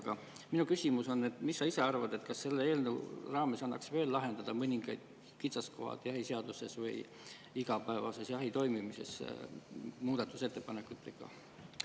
Aga minu küsimus on, et mis sa ise arvad, kas selle eelnõu raames annaks veel muudatusettepanekutega lahendada mõningad kitsaskohad jahiseaduses või igapäevases jahi toimumises?